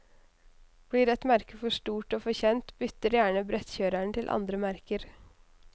Blir et merke for stort og for kjent, bytter gjerne brettkjørerne til andre merker.